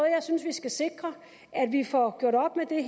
jeg synes vi skal sikre at vi får gjort op med det